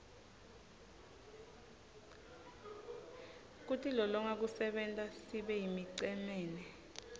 kutilolonga kusenta sibeyimicemene